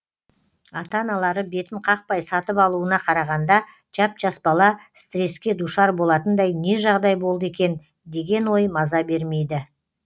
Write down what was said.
ата аналары бетін қақпай сатып алуына қарағанда жап жас бала стресске душар болатындай не жағдай болды екен деген ой маза бермейді